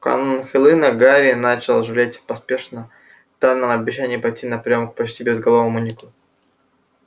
в канун хэллоуина гарри начал жалеть о поспешно данном обещании пойти на приём к почти безголовому нику